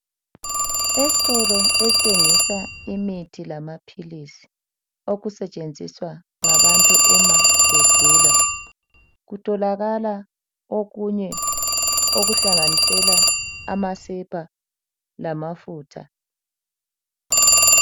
Estolo esthengisa imithi lamaphilisi okusetshenziswa ngabantu uma begula kutholakala okunye okuhlanganisela amasepa lamafutha .